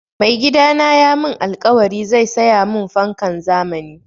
Mai gidana ya mun alkawari zai saya mun fankan zamani